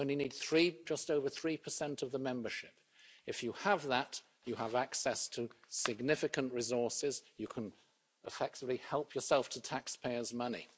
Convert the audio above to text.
You only need just over 3 of the membership. If you have that you have access to significant resources you can effectively help yourself to taxpayers' money.